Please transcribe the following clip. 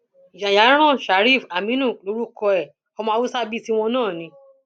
yayaran shariff aminu lorúkọ ẹ ọmọ haúsá bíi tiwọn náà ni